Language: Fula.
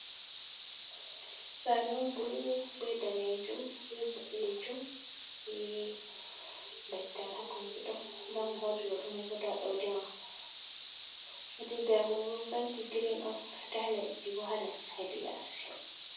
Sare'on bulu, be danejum, be boɗejum, be leggal ha kombi ɗo da mo hosi hoto mai bo da daudi mako, hedi der maibo penti gireen on, da leddi bo hales, hedi yasi.